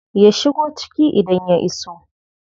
Ya shigo ciki idan ya iso.